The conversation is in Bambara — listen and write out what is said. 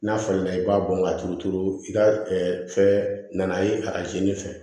N'a falenna i b'a bɔn ka turu turu i ka fɛn na ye arajo fɛ